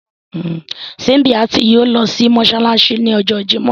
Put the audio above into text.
Símbíàtì yóò lọ sí Mossalasi ní ọjọ́ Jímọ̀.